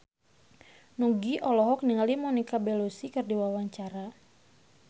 Nugie olohok ningali Monica Belluci keur diwawancara